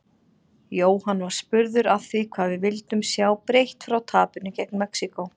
Jóhann var spurður að því hvað við vildum sjá breytt frá tapinu gegn Mexíkó?